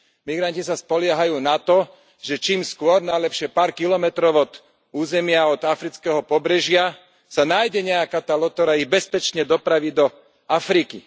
Migranti sa spoliehajú na to, že čím skôr, najlepšie pár kilometrov od územia od afrického pobrežia, sa nájde nejaká tá loď, ktorá ich bezpečne dopraví do Afriky.